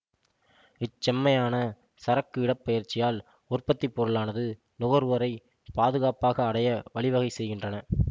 இச்செம்மையான சரக்கு இடப்பெயர்ச்சியால் உற்பத்திப்பொருளானாது நுகர்வோரை பாதுகாப்பாக அடைய வழிவகை செய்கின்றன